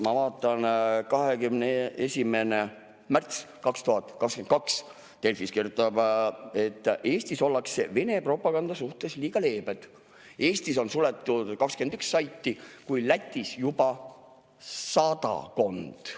Ma vaatan, et 21. märtsil 2022 Delfis kirjutati, et Eestis ollakse Vene propaganda suhtes liiga leebed, Eestis on suletud 21 saiti, kuid Lätis juba sadakond.